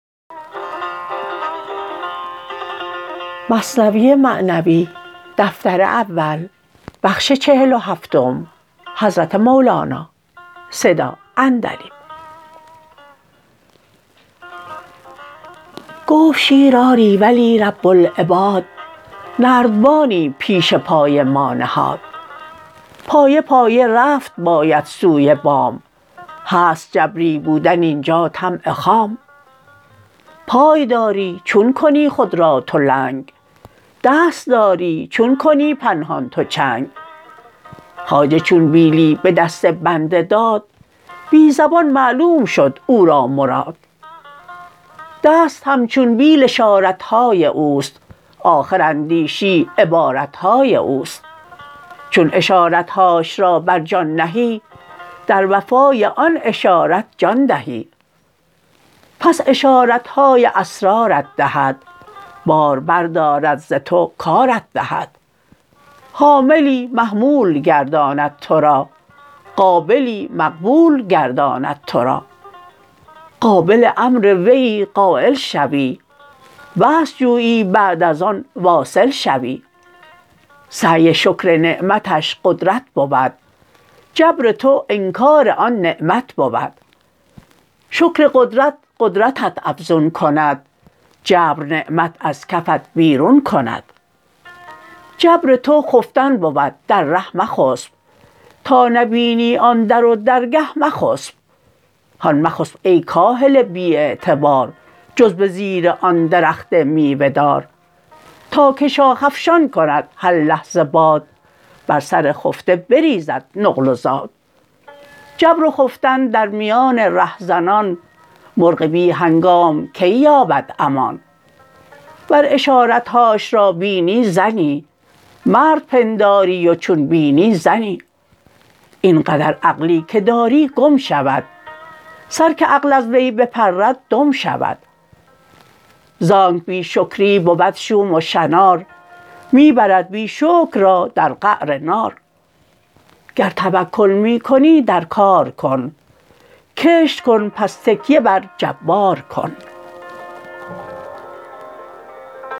گفت شیر آری ولی رب العباد نردبانی پیش پای ما نهاد پایه پایه رفت باید سوی بام هست جبری بودن اینجا طمع خام پای داری چون کنی خود را تو لنگ دست داری چون کنی پنهان تو چنگ خواجه چون بیلی به دست بنده داد بی زبان معلوم شد او را مراد دست همچون بیل اشارت های اوست آخر اندیشی عبارت های اوست چون اشارت هاش را بر جان نهی در وفا ی آن اشارت جان دهی پس اشارت های اسرار ت دهد بار بر دارد ز تو کارت دهد حاملی محمول گرداند تو را قابلی مقبول گرداند تو را قابل امر ویی قایل شوی وصل جویی بعد از آن واصل شوی سعی شکر نعمتش قدرت بود جبر تو انکار آن نعمت بود شکر قدرت قدرتت افزون کند جبر نعمت از کفت بیرون کند جبر تو خفتن بود در ره مخسپ تا نبینی آن در و درگه مخسپ هان مخسپ ای کاهل بی اعتبار جز به زیر آن درخت میوه دار تا که شاخ افشان کند هر لحظه باد بر سر خفته بریزد نقل و زاد جبر و خفتن در میان ره زنان مرغ بی هنگام کی یابد امان ور اشارت هاش را بینی زنی مرد پنداری و چون بینی زنی این قدر عقلی که داری گم شود سر که عقل از وی بپرد دم شود زانک بی شکری بود شوم و شنار می برد بی شکر را در قعر نار گر توکل می کنی در کار کن کشت کن پس تکیه بر جبار کن